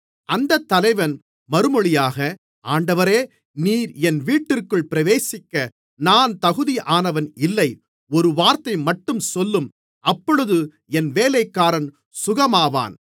அந்தத் தலைவன் மறுமொழியாக ஆண்டவரே நீர் என் வீட்டிற்குள் பிரவேசிக்க நான் தகுதியானவன் இல்லை ஒரு வார்த்தைமட்டும் சொல்லும் அப்பொழுது என் வேலைக்காரன் சுகமாவான்